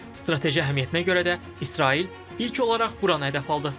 Strateji əhəmiyyətinə görə də İsrail ilk olaraq buranı hədəf aldı.